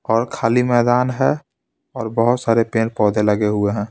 और खाली मैदान है और बहोत सारे पेड़-पौधे लगे हुए हैं.